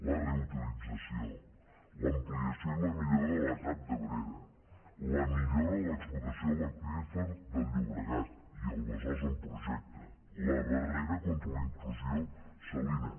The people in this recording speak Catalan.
la reutilització l’ampliació i la millora de l’etap d’abrera la millora de l’explotació de l’aqüífer del llobregat i el besòs en projecte la barrera contra la intrusió salina